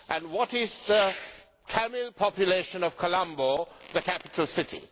What is the Tamil population of Colombo, the capital city?